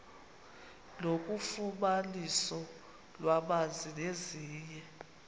nofumaniso lwamanzi nezinye